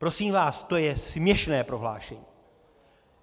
Prosím vás, to je směšné prohlášení!